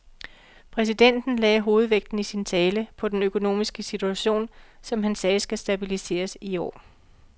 Præsidenten lagde hovedvægten i sin tale på den økonomiske situation, som han sagde skal stabiliseres i år.